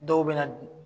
Dɔw bɛ na